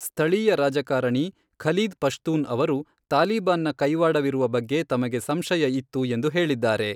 ಸ್ಥಳೀಯ ರಾಜಕಾರಣಿ ಖಲೀದ್ ಪಶ್ತೂನ್ ಅವರು, ತಾಲಿಬಾನ್ನ ಕೈವಾಡವಿರುವ ಬಗ್ಗೆ ತಮಗೆ ಸಂಶಯ ಇತ್ತು ಎಂದು ಹೇಳಿದ್ದಾರೆ.